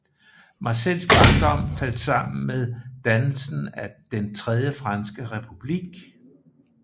Marcels barndom faldt sammen med dannelsen af Den tredje franske republik